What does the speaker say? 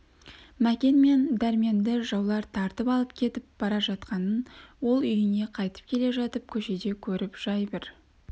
мәкен мен дәрменді жаулар тартып алып кетіп бара жатқанын ол үйіне қайтып келе жатып көшеде көріп жай бір